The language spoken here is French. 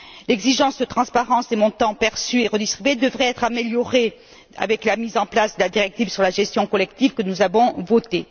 L'exigence de transparence des montants perçus et redistribués devrait être améliorée avec la mise en place de la directive sur la gestion collective, que nous avons votée.